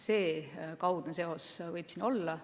Selline kaudne seos võib siin olla.